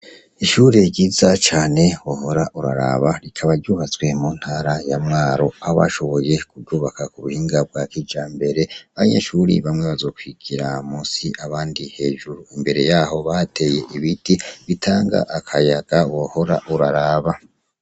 Ishure ryiza cane wohora uraraba rikaba ryubatswe mu ntara ya mwaru abashoboye kurwubaka ku buhinga bwa kija mbere anye shuriye bamwe bazokwigira musi abandi hejuru imbere yaho bateye ibiti bitanga akayaga wohora uraraba.